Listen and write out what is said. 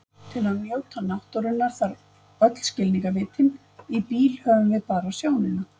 Til að njóta náttúrunnar þarf öll skilningarvitin, í bíl höfum við bara sjónina.